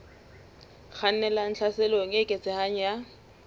kgannelang tlhaselong e eketsehang ya